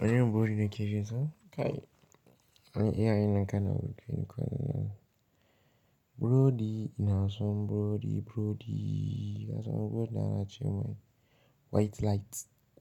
Wani irin burodi na ke chinsa? Kai, an yi iya yin an kai na burodi ne kuma na burodi ina son burodi, burodi. Ina son burodi na ana ce mai white light,